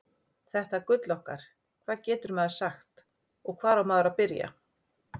Þetta gull okkar, hvað getur maður sagt og hvar á maður að byrja?